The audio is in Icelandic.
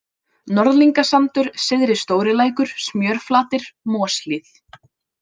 Norðlingasandur, Syðri-Stórilækur, Smjörflatir, Moshlíð